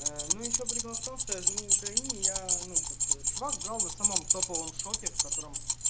ну ещё прикол в том что я живу в украине я ну как чувак был на самом топовом шопе в котором